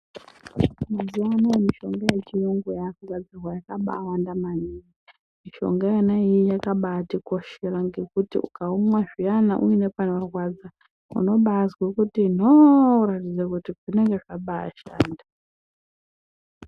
Mazuwa anaya mishonga yechiyungu yakugadzirwa yakabawanda maningi. Mishonga iyi yakabatikoshera ngekuti ukaumwa zviyana uine panorwadza unobazwa kuti nhoo kuratidza kuti wabashanda.